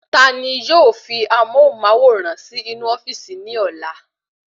Tani yóò fi amóhùnmáwòrán si inú ofíìsì ní ọlá?